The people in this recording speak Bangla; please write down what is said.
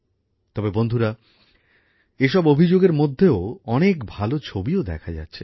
তবে বন্ধুরা এসব অভিযোগের মধ্যেও অনেক ভালো ছবিও দেখা যাচ্ছে